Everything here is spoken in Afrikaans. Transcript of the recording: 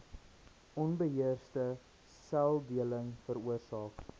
onbeheerste seldeling veroorsaak